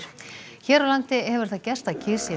hér á landi hefur það gerst að kýr sé